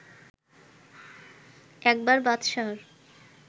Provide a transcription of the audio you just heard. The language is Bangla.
একবার বাদশাহর